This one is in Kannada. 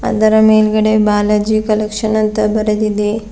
ಅದರ ಮೇಲ್ಗಡೆ ಬಾಲಾಜಿ ಕಲೆಕ್ಷನ್ ಅಂತ ಬರೆದಿದೆ.